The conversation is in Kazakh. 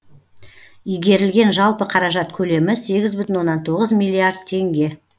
игерілген жалпы қаражат көлемі сегіз бүтін оннан тоғыз миллиард теңге